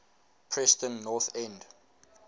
preston north end